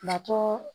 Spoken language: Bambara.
Natɔ